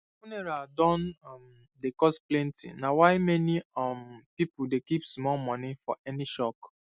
funeral don um dey cost plenty na why many um people dey keep small money for any shock